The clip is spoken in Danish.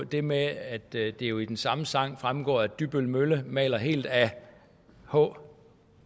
det med at det jo af den samme sang fremgår at dybbøl mølle maler helt ad h